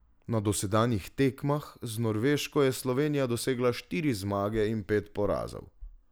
Na dosedanjih tekmah z Norveško je Slovenija dosegla štiri zmage in pet porazov.